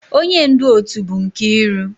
Onye ndu otu bụ Nkiru